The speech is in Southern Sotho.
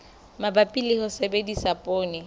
mabapi le ho sebedisa poone